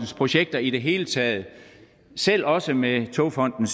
projekter i det hele taget selv også med togfonden